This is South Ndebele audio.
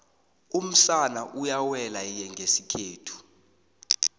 umsana uyawela iygesikhethu